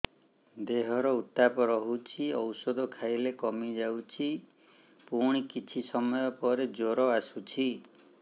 ଦେହର ଉତ୍ତାପ ରହୁଛି ଔଷଧ ଖାଇଲେ କମିଯାଉଛି ପୁଣି କିଛି ସମୟ ପରେ ଜ୍ୱର ଆସୁଛି